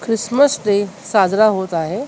Christmas day साजरा होत आहे .